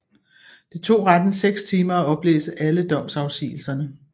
Det tog retten seks timer at oplæse alle domsafsigelserne